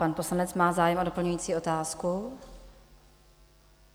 Pan poslanec má zájem o doplňující otázku.